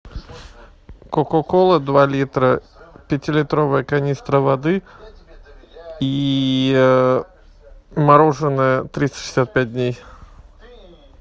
кока кола два литра пятилитровая канистра воды и мороженое триста шестьдесят пять дней